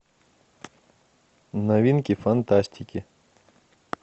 новинки фантастики